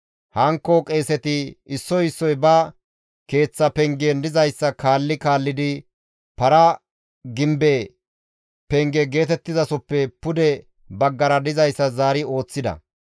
Hankko qeeseti issoy issoy ba keeththa pengen dizayssa kaalli kaallidi para gimbe penge geetettizasoppe pude baggara dizayssa zaari ooththida.